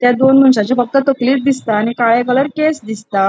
थ्य दोन मनशाचे फक्त तकली दिसता आणि काळे कलर केस दिसता.